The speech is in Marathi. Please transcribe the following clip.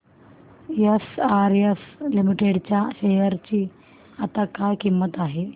एसआरएस लिमिटेड च्या शेअर ची आता काय किंमत आहे